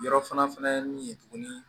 Yɔrɔ fana min ye tuguni